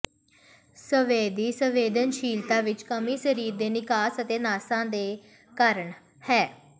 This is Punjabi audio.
ਸੰਵੇਦੀ ਸੰਵੇਦਨਸ਼ੀਲਤਾ ਵਿੱਚ ਕਮੀ ਸਰੀਰ ਦੇ ਨਿਕਾਸ ਅਤੇ ਨਸਾਂ ਦੇ ਕਾਰਨ ਹੈ